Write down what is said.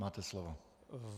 Máte slovo.